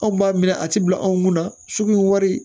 Anw b'a minɛ a ti bila anw kun na sugu wari